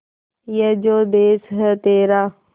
ये जो देस है तेरा